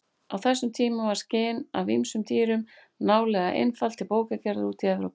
Á þessum tímum var skinn af ýmsum dýrum nálega einhaft til bókagerðar úti í Evrópu.